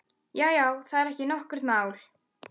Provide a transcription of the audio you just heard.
Já, já, það er ekki nokkurt mál.